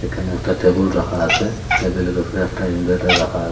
এখানে একটা টেবল রাখা আছে টেবিলে র ওপরে একটা ইনভেটার রাখা --